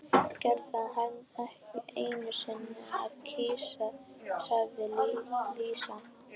Greyið, kann ekki einusinni að kyssa, sagði Lísa.